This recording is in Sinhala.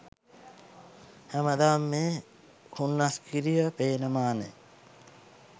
හෑමදාම මේ හුන්නස්ගිරිය පේන මානෙන්